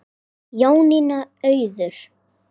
Jónína Auður.